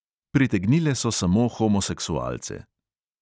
Pritegnile so samo homoseksualce.